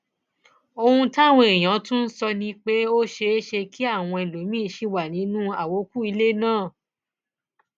ohun táwọn èèyàn tún sọ ni pé ó ṣeé ṣe kí àwọn ẹlòmíín sì wà nínú àwókù ilé náà